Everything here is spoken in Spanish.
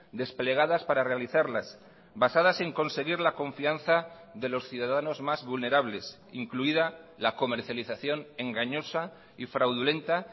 desplegadas para realizarlas basadas en conseguir la confianza de los ciudadanos más vulnerables incluida la comercialización engañosa y fraudulenta